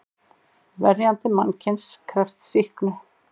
Verjandi mannsins krefst sýknu.